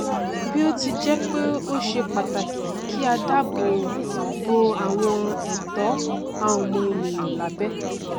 bí ó ti jẹ pé ó ṣe pàtàkì kí a dáàbò bo àwọn ẹtó ọmọnìyàn lábẹ